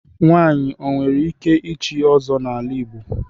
Nwanyị o nwere ike ịchị Ọzọ n'ala Igbo.